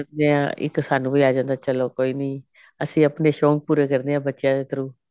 ਦੇਖਦੇ ਹਾਂ ਇੱਕ ਸਾਨੂੰ ਵੀ ਆ ਜਾਂਦਾ ਚਲੋ ਕੋਈ ਨੀ ਅਸੀਂ ਆਪਣੇ ਸ਼ੋਂਕ ਪੂਰੇ ਕਰਨੇ ਐ ਬੱਚਿਆ ਦੇ through